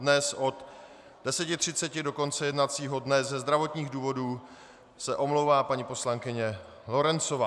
Dnes od 10.30 do konce jednacího dne ze zdravotních důvodů se omlouvá paní poslankyně Lorencová.